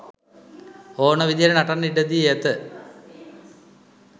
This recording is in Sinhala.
ඕන විදිහට නටන්න ඉඩදී ඇත.